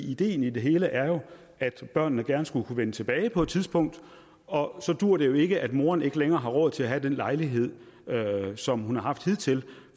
ideen i det hele er jo at børnene gerne skulle kunne vende tilbage på et tidspunkt og så duer det ikke at moderen ikke længere har råd til at have den lejlighed som hun har haft hidtil